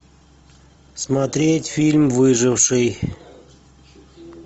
смотреть фильм выживший